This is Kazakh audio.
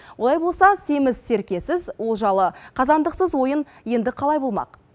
олай болса семіз серкесіз олжалы қазандықсыз ойын енді қалай болмақ